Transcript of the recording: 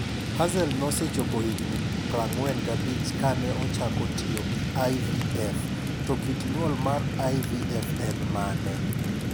Hazel nosechopo higni 45 kane ochako tiyo gi IVF, to kit nyuol mar IVF en mane?